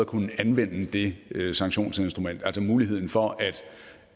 kunne anvende det sanktionsinstrument altså muligheden for